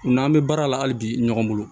U n'an bɛ baara la hali bi ɲɔgɔn bolo